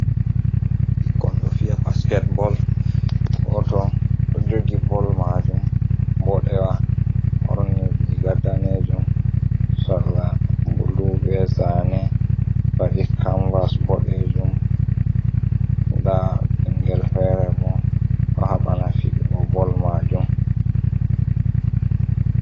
Ɓikkoi do fiya basketball. Go to ɗo jogi ball majum bodewa ɓorni riga danejum, sarla bulu be zane, faɗi kamvas bodejum, nda ɓingel fere bo ɗo haɓana fiɗugo ball majum.